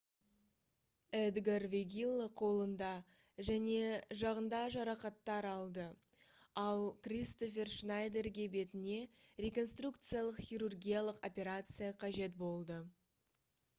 эдгар вегилла қолында және жағында жарақаттар алды ал кристофер шнайдерге бетіне реконструкциялық хирургиялық операция қажет болды